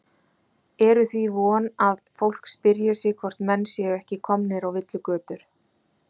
Eru því von að fólk spyrji sig hvort menn séu ekki komnir á villigötur?